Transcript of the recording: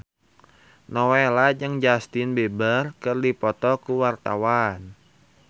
Nowela jeung Justin Beiber keur dipoto ku wartawan